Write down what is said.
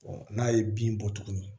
n'a ye bin bɔ tuguni